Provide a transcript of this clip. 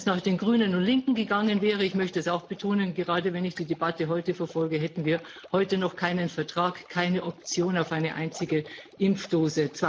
Wenn es nach den Grünen und Linken gegangen wäre ich möchte das auch betonen, gerade wenn ich die Debatte heute verfolge hätten wir heute noch keinen Vertrag, keine Option auf eine einzige Impfdosis.